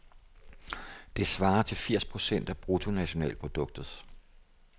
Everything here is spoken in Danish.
Det svarer til firs procent af bruttonationalproduktet.